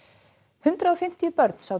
hundrað og fimmtíu börn sátu